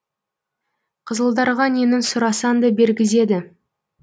қызылдарға нені сұрасаң да бергізеді